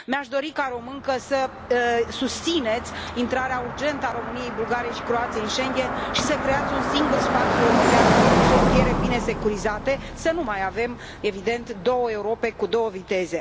Mi aș dori, ca româncă, să susțineți intrarea urgentă a României, Bulgariei și Croației în Schengen și să creați un singur spațiu european, cu frontiere bine securizate, să nu mai avem, evident, două Europe cu două viteze.